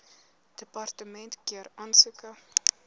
departement keur aansoeke